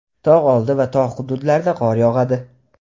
tog‘ oldi va tog‘ hududlarda qor yog‘adi.